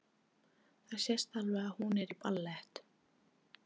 Það sést alveg að hún er í ballett.